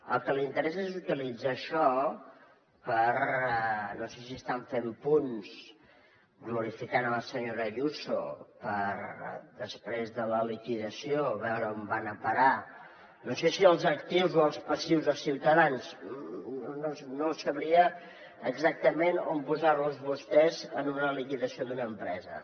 el que li interessa és utilitzar això per no sé si estan fent punts glorificant la senyora ayuso per després de la liquidació veure on van a parar no sé si els actius o els passius dels ciutadans no sabria exactament on posar los a vostès en una liquidació d’una empresa